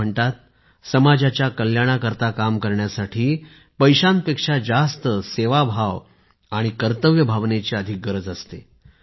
असे म्हणतात समाजाच्या कल्याणासाठी काम करण्यासाठी पैशांपेक्षा जास्त सेवाभाव कर्तव्य भावनेची अधिक गरज असते